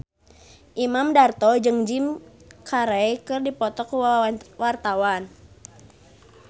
Imam Darto jeung Jim Carey keur dipoto ku wartawan